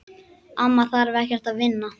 Amma þarf ekkert að vinna.